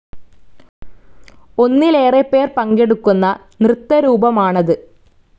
ഒന്നിലേറെ പേർ പങ്കെടുക്കുന്ന നൃത്തരൂപമാണത്‌.